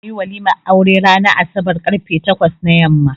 Za ayi walimar aure ranan asabar karfe takwas na yamma